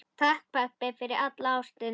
Takk, pabbi, fyrir alla ástina.